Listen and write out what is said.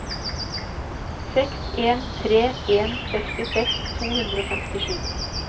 seks en tre en sekstiseks to hundre og femtisju